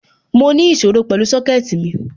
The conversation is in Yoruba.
Mo ní ìṣòro pẹ̀lú Sọ́kẹ̀tì mi